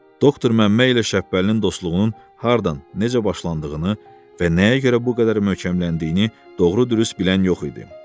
Doktor Məmmə ilə Şəhbəlinin dostluğunun hardan, necə başlandığını və nəyə görə bu qədər möhkəmləndiyini doğru-düz bilən yox idi.